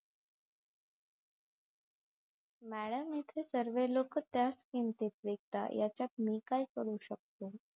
madam इथे सर्वे लोक त्याच किमतीत विकतात याच्यात मी काय करू शकते